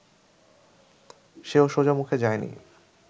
সেও সোজামুখে যায়নি